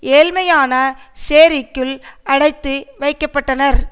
ஏழ்மையான சேரிக்குள் அடைத்துவைக்கப்பட்டனர்